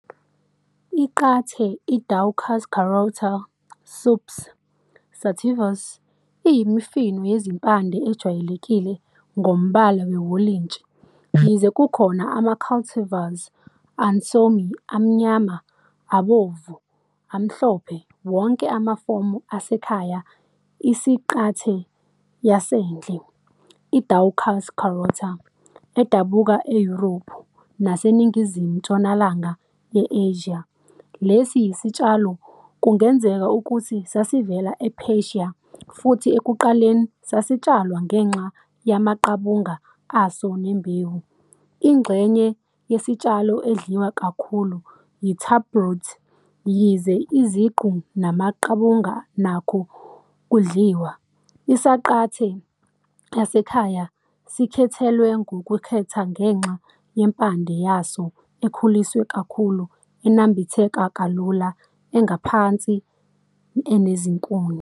I- qhathe, i- "Daucus carota" subsp. "Sativus", iyimifino yezimpande, ejwayelekile ngombala wewolintshi, yize kukhona ama-cultivars ansomi, amnyama, abomvu, amhlophe, wonke amafomu asekhaya isanqante yasendle, "i-Daucus carota", edabuka eYurophu naseNingizimu-ntshonalanga ye-Asia. Lesi sitshalo kungenzeka ukuthi sasivela ePersia futhi ekuqaleni sasitshalwa ngenxa yamaqabunga aso nembewu. Ingxenye yesitshalo edliwa kakhulu yi-taproot, yize iziqu namaqabunga nakho kudliwa. Isanqante yasekhaya sikhethelwe ngokukhetha ngenxa yempande yaso ekhuliswe kakhulu, enambitheka kalula, engaphansi enezinkuni.